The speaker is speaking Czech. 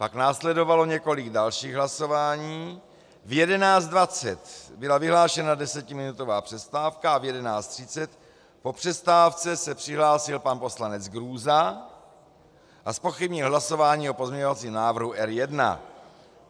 Pak následovalo několik dalších hlasování, v 11.20 byla vyhlášena desetiminutová přestávka a v 11.30 po přestávce se přihlásil pan poslanec Grůza a zpochybnil hlasování o pozměňovacím návrhu R1.